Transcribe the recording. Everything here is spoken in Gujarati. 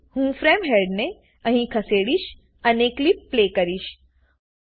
તેથી હું ફ્રેમ હેડને અહીં ખસેડીશ અને ક્લીપ પ્લે કરીશ